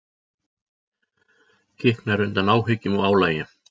Kiknar undan áhyggjum og álagi.